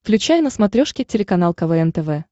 включай на смотрешке телеканал квн тв